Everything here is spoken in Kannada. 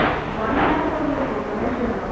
one lakh ಕೊಡ್ಬೇಕು ಡೊನೇಶನ್ .